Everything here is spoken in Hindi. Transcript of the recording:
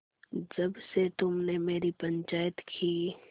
जब से तुमने मेरी पंचायत की